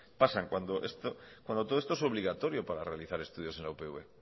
pasan cuando todo esto es obligatorio para realizar estudios en la upv